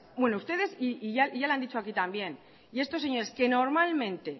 bueno ustedes y ya lo han dicho aquí también y estos señores que normalmente